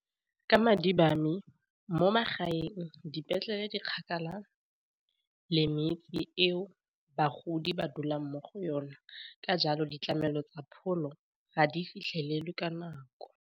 Ka madi ba me mo magaeng dipetlele di kgakala le metse ao bagodi ba dulang mo go yona, ka jalo ditlamelo tsa pholo ga di fitlhelelwe ka nako.